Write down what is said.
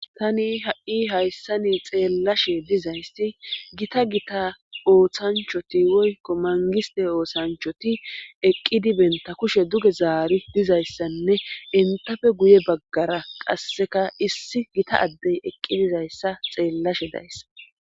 Tani ha'i hayssa ni xeellashe dizaysti gita gita ooththanchoti woykko mangiste ooshanchoti eqqidi benta kushe duge zaari dizayssanne entafe guye baggara qasseka issi gita addey eqqi dizayssa xeellashe dayssa.